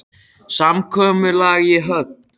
Samkomulag í höfn?